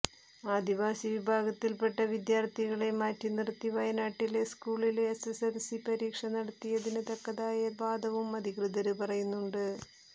ആദിവാസി വിഭാഗത്തില്പ്പെട്ട വിദ്യാര്ഥികളെ മാറ്റി നിര്ത്തി വയനാട്ടിലെ സ്കൂളില് എസ്എസ്എല്സി പരീക്ഷ നടത്തിയതിന് തക്കതായ വാദവും അധികൃതര് പറയുന്നുണ്ട്